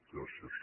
gràcies